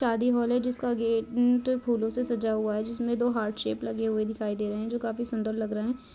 शादी हॉल है जिसका गेंट म फूलों से सजा हुआ है जिसमे दो हार्ट शेप लगे हुए दिखाई दे रहें हैं जो काफी सुन्दर लग रहें हैं।